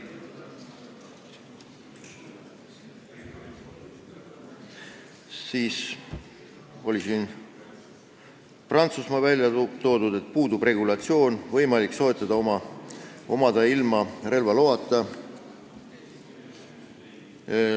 Siis toodi välja Prantsusmaa, kus puudub regulatsioon ning summuteid on võimalik soetada ja omada ilma relvaloata.